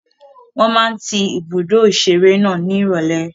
Wọ́n máa ń tí ibùdó ìṣeré náà ní ìrọ̀lẹ́.